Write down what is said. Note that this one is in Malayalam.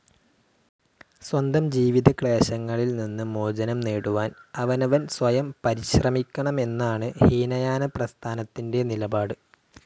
സ്വന്തം ജീവിതക്ലേശങ്ങളിൽ നിന്ന് മോചനം നേടുവാൻ അവനവൻ സ്വയം പരിശ്രമിക്കണം എന്നാണ് ഹീനയാനപ്രസ്ഥാനത്തിന്റെ നിലപാട്.